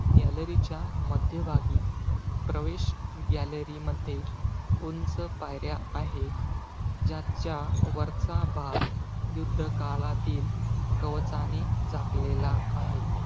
Gallery च्या मध्यभागी, प्रवेश gallery मध्ये, उंच पायऱ्या आहे. ज्याच्या वरचा भाग, युद्ध काळातील कवचाने झाकलेला आहे.